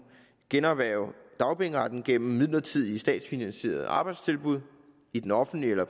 generhverve dagpengeretten gennem midlertidige statsfinansierede arbejdstilbud i den offentlige eller